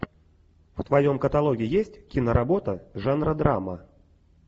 в твоем каталоге есть киноработа жанра драма